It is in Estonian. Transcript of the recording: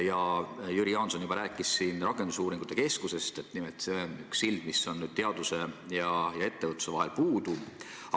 Jüri Jaanson juba rääkis siin rakendusuuringute keskusest, nimelt see on üks sild, mis on teaduse ja ettevõtluse vahel puudu.